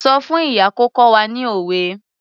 Sọ fún ìyá kó kọ́ wa ní òwe.